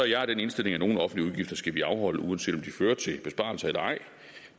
jeg den indstilling at nogle offentlige udgifter skal vi afholde uanset om de fører til en besparelse eller ej